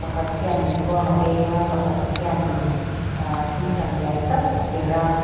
pakhat khianin khuang a beng a pakhat khian in ahh tingtang lian tak a perh a.